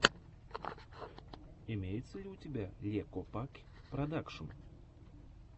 имеется ли у тебя ле копакь продакшен